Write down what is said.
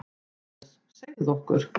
MATTHÍAS: Segðu okkur.